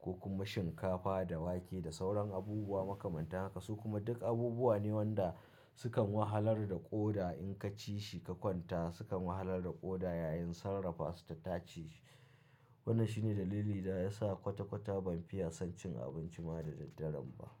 ko kuma shinkafa da wake da sauran abubuwa makamanta haka. Su kuma duk abubuwa ne wanda sukan wahalar da ƙoda in ka ci shi ka kwanta sukan wahalar da ƙoda yayin sarrafa su ta taceshi. Wannan shi ne dalili da ya sa kwata-kwata ban fiya son cin abinci ma da daddare ba.